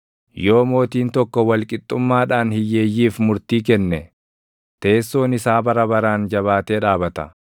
Yoo mootiin tokko wal qixxummaadhaan // hiyyeeyyiif murtii kenne, teessoon isaa bara baraan jabaatee dhaabata.